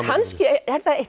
kannski er það eitt